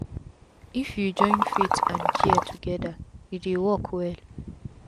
if u join faith and care togeda e dey work well